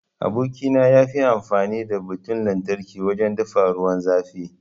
Aboki na yafi amfani da Butan lantarki wajen dafa ruwan zafi.